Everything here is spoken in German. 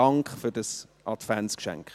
Dank für dieses Adventsgeschenk!